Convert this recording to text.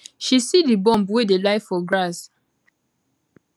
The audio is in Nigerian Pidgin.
she see di bomb wey dey lie for grass